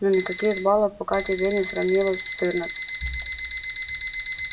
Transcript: но никаких балов пока тебе не сравнялось четырнадцать